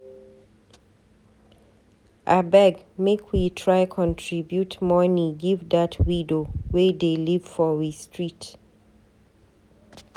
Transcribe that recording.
Abeg make we try contribute moni give dat widow wey dey live for we street.